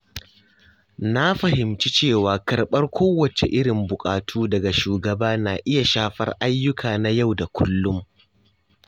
Na fahimci cewa karɓar kowacce irin buƙatu daga shugaba na iya shafar ayyuka na yau da kullum.